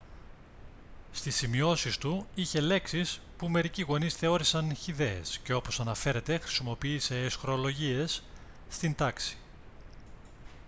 στις σημειώσεις του είχε λέξεις που μερικοί γονείς θεώρησαν χυδαίες και όπως αναφέρεται χρησιμοποίησε αισχρολογίες στην τάξη